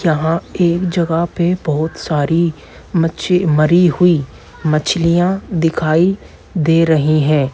यहाँ एक जगह पे बहुत सारी मच्छी मरी हुई मछलियाँ दिखाई दे रही है।